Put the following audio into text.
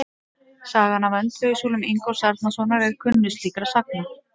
Sagan af öndvegissúlum Ingólfs Arnarsonar er kunnust slíkra sagna.